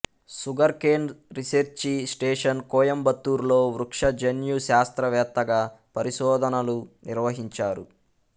sugar cane research station Coimbatore లో వృక్ష జన్యు శాస్త్రవేత్తగా పరిశోధనలు నిర్వహించారు